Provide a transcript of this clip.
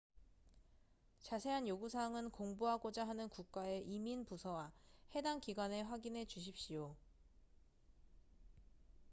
자세한 요구 사항은 공부하고자 하는 국가의 이민 부서와 해당 기관에 확인해 주십시오